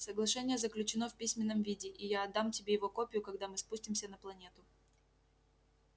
соглашение заключено в письменном виде и я отдам тебе его копию когда мы спустимся на планету